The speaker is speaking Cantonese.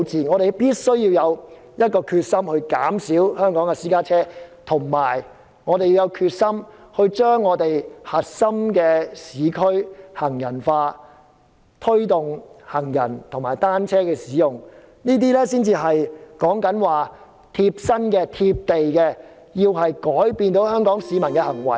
我們必須下定決心減少香港私家車數目，並盡量將核心市區變為行人專用區，只供行人和單車使用，這才是貼身、貼地，從而改變香港市民的行為。